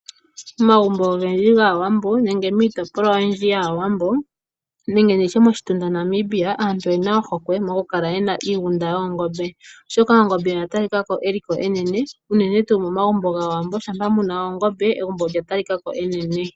Omagumbo ogendji gwAawambo nenge miitopolwa oyindji yAawambo nenge moshitunfa Namibia, aantu oyena ohokwe yokukala niiginda yoongombe molwaashoka ongombe oya talikako yina eliko enene. Uuna ngele momagumbo gwAawambo muna ongombe, lyo olya talikako onga enene.